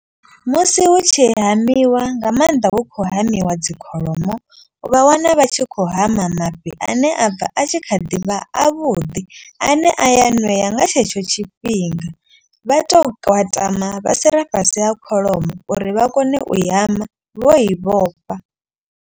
Musi hu tshi hamiwa nga maanḓa hu khou hamiwa dzikholomo. Vha wana vha tshi khou hama mafhi ane a bva a tshi kha ḓi vha avhuḓi. A ne a ya ṋea nga tshetsho tshifhinga vha tou tama vha si re fhasi ha kholomo uri vha kone u hama vho i vhofha.